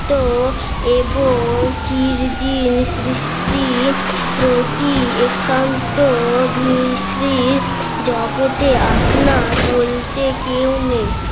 তো এবং চিরদিন সৃষ্টি প্রতি একান্ত অভিশ্রীর জগতে আপনার বলতে কেউ নেই